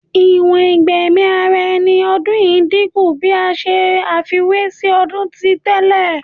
Iwọn igbẹmi ara ẹni ni ọdun yii dinku bi a ṣe àfiwé si ọdun ti tẹlẹ